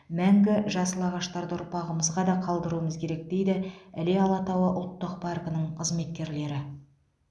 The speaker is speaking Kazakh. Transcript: мәңгі жасыл ағаштарды ұрпағымызға да қалдыруымыз керек дейді іле алатауы ұлттық паркінің қызметкерлері